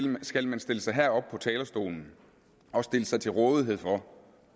man skal stille sig herop på talerstolen og stille sig til rådighed for